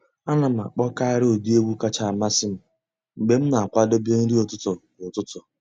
A nà m àkpọ́kàrị́ ụ́dị́ ègwú kàchàsị́ àmásị́ m mg̀bé m nà-àkwàdébé nrí ụ́tụtụ́ kwà ụ́tụtụ́.